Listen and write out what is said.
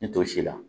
Ni to si la